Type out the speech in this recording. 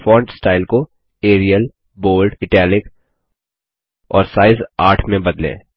और फिर font style को एरियल बोल्ड इटालिक और साइज 8में बदलें